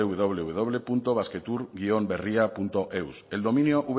wwwbasquetour berriaeus el dominio